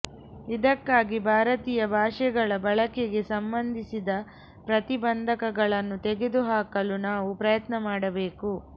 ಇದಕ್ಕಾಗಿ ಭಾರತೀಯ ಭಾಷೆಗಳ ಬಳಕೆಗೆ ಸಂಬಂಧಿಸಿದ ಪ್ರತಿಬಂಧಕಗಳನ್ನು ತೆಗೆದುಹಾಕಲು ನಾವು ಪ್ರಯತ್ನ ಮಾಡಬೇಕು